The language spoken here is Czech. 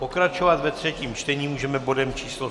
Pokračovat ve třetím čtení můžeme bodem číslo